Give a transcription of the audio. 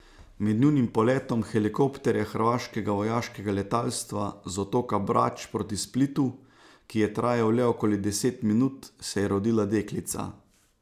Med nujnim poletom helikopterja hrvaškega vojaškega letalstva z otoka Brač proti Splitu, ki je trajal le okoli deset minut, se je rodila deklica.